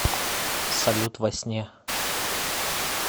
салют во сне